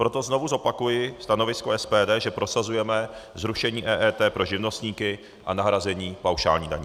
Proto znovu zopakuji stanovisko SPD, že prosazujeme zrušení EET pro živnostníky a nahrazení paušální daní.